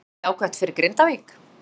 Er það ekki jákvætt fyrir Grindavík?